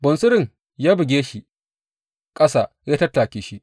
Bunsurun ya buge shi ƙasa ya tattake shi.